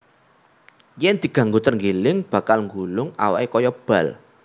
Yèn diganggu trenggiling bakal nggulung awaké kaya bal